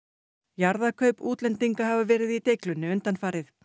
jarðakaup útlendinga hafa verið í deiglunni undanfarið